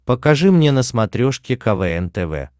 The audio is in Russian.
покажи мне на смотрешке квн тв